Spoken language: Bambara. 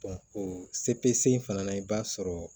o se in fana na i b'a sɔrɔ